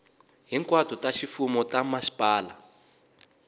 hinkwato ta ximfumo ta mhasipala